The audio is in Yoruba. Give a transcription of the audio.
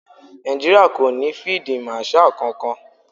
Nàìjíríà kò ní fíídí màṣaà kankan.